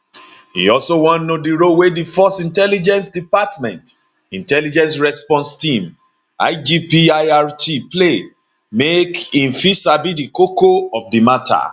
e also wan know di role wey di force intelligence department intelligence response team igpirt play make im fit sabi di koko of di mata